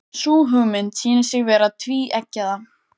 Sú hugmynd sýnir sig vera tvíeggjaða.